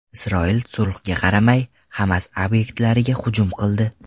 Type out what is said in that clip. Isroil sulhga qaramay Hamas obyektlariga hujum qildi.